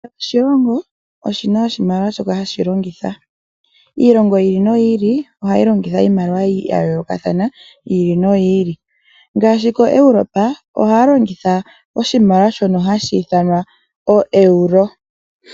Kehe oshilongo oshi na oshimaliwa shoka hashi longitha. Iilongo yi ili noyi ili ohayi longitha iimaliwa ya yoolokathana. Ngaashi koEuropa ohaa longitha oshimaliwa shoka hashi ithanwa oEuro.